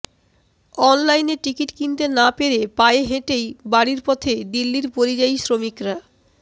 অনলাইনে টিকিট কিনতে না পেরে পায়ে হেঁটেই বাড়ির পথে দিল্লির পরিযায়ী শ্রমিকরা